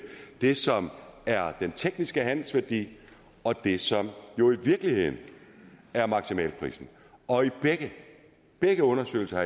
det som er den tekniske handelsværdi og det som jo i virkeligheden er maksimalprisen og i begge undersøgelser